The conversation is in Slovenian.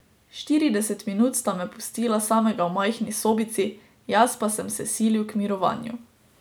Štirideset minut sta me pustila samega v majhni sobici, jaz pa sem se silil k mirovanju.